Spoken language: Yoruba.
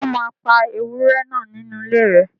Ṣé wọ́n máa pa ewúrẹ́ náà nínú ilé rẹ